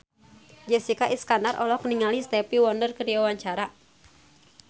Jessica Iskandar olohok ningali Stevie Wonder keur diwawancara